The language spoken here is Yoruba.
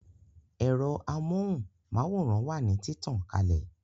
Ẹ̀rọ amóhùn máwòrán wà ní títàn kalè